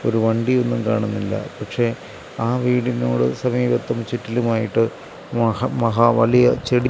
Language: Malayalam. ഒരു വണ്ടിയൊന്നും കാണുന്നില്ല പക്ഷേ ആ വീടിനോടും സമീപത്തും ചുറ്റിലുമായിട്ട് മഹ മഹാ വലിയ ചെടി--